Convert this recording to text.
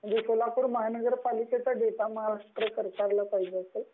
म्हणजे सोलापूर महानगरपालिकाचा डेटा महाराष्ट्र सरकारला पाहिजे असेल